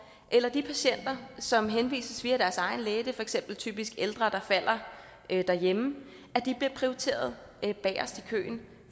eller de patienter som henvises via deres egen læge det er for eksempel typisk ældre der falder derhjemme bliver prioriteret bagest i køen